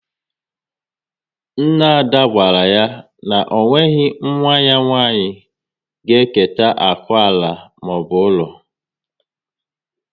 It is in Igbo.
Nna Ada gwara ya na o nweghị nwa ya nwanyị ga eketa akụ ala maọbụ ụlọ